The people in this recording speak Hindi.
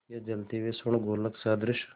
या जलते हुए स्वर्णगोलक सदृश